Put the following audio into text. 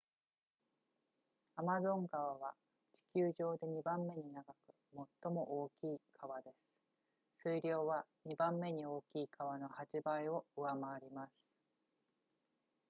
アマゾン川は地球上で2番目に長く最も大きい川です水量は2番目に大きい川の8倍を上回ります